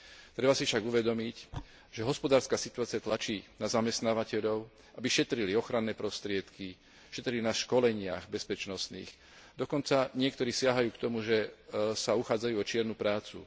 Treba si však uvedomiť, že hospodárska situácia tlačí na zamestnávateľov, aby šetrili ochranné prostriedky, šetrili na bezpečnostných školeniach, dokonca niektorí siahajú k tomu, že sa uchádzajú o čiernu prácu.